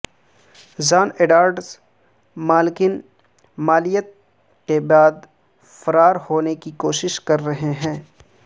جان Edwards مالکن مالیت کے بعد فرار ہونے کی کوشش کر رہے ہیں